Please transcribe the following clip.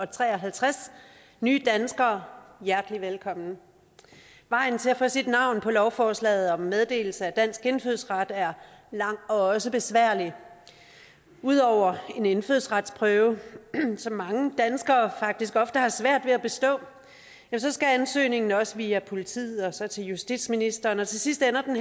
tre og halvtreds nye danskere hjertelig velkommen vejen til at få sit navn på lovforslaget om meddelelse af dansk indfødsret er lang og også besværlig ud over en indfødsretsprøve som mange danskere faktisk ofte har svært ved at bestå skal ansøgningen også via politiet og så til justitsministeren og til sidst ender den